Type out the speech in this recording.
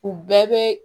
U bɛɛ bɛ